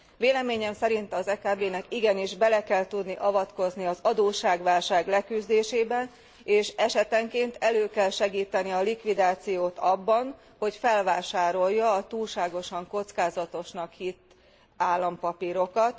Véleményem szerint az EKB nak igenis bele kell tudni avatkoznia az adósságválság leküzdésébe, és esetenként elő kell segítenie a likviditást abban, hogy felvásárolja a túlságosan kockázatosnak hitt állampapírokat.